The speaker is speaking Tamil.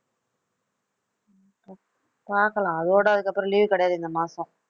பாக்கலாம் அதோட அதுக்கப்புறம் leave கிடையாது இந்த மாசம்